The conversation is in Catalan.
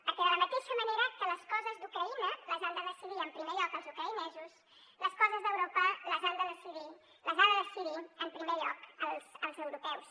perquè de la mateixa manera que les coses d’ucraïna les han de decidir en primer lloc els ucraïnesos les coses d’europa les han de decidir en primer lloc els europeus